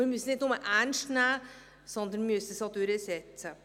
Wir müssen es nicht bloss ernst nehmen, wir müssen es auch durchsetzen.